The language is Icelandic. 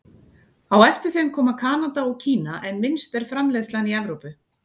Á eftir þeim koma Kanada og Kína en minnst er framleiðslan í Evrópu.